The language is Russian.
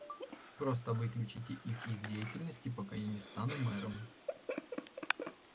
просто выключите их из деятельности пока я не стану мэром